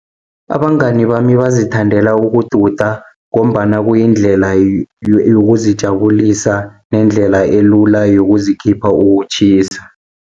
Abangani bami bazithandela ukududa, ngombana kuyindlela yokuzijabulisa nendlela elula yokuzikhipha ukutjhisa.